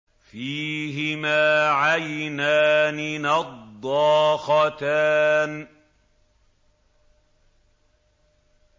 فِيهِمَا عَيْنَانِ نَضَّاخَتَانِ